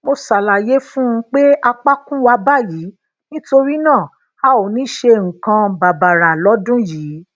mo ṣàlàyé fún un pé apakun wa bayii nítorí náà a ò ní ṣe nǹkan bàbàrà lọdún yìí